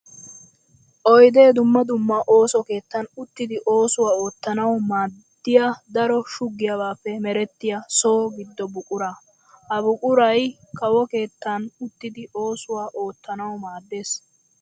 Oydde dumma dumma ooso keettan uttiddi oosuwa oottanawu maadiya daro shuggiyabappe meretiya so gido buqura. Ha buquray kawo keettan uttiddi oosuwa oottanawu maades.